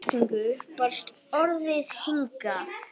Í þeirri merkingu barst orðið hingað.